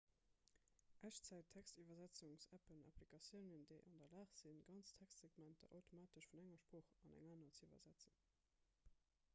echtzäit-textiwwersetzungs-appen applikatiounen déi an der lag sinn ganz textsegmenter automatesch vun enger sprooch an eng aner ze iwwersetzen